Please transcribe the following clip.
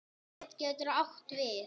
Bríet getur átt við